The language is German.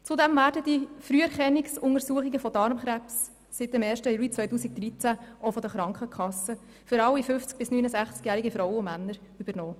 Zudem werden die Früherkennungsuntersuchungen von Darmkrebs seit dem 1. Juli 2013 für alle 50- bis 69-jährigen Frauen und Männer auch von den Krankenkassen übernommen.